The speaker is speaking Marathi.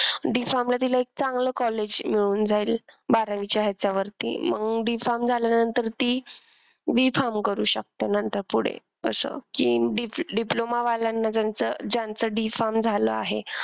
D farm ला तिला एक चांगलं college मिळून जाईल बारावीच्या ह्याच्यावरती मग D farm झाल्यानंतर ती B farm करू शकते नंतर पुढे असं कि diploma वाल्याना ज्यांचं ज्यांचं D farm झालं आहे.